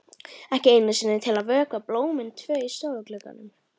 Ekki einu sinni til að vökva blómin tvö í stofuglugganum.